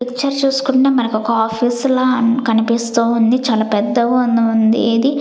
ఈ పిక్చర్ చూసుకుంటే మనకొక ఆఫీస్ లా అన్ కనిపిస్తూ ఉంది చాలా పెద్దగా ఉంద్ ఉంది ఇది.